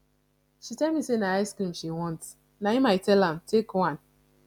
she tell me say na icecream she want na im i tell am take one